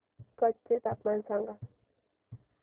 कच्छ चे तापमान सांगा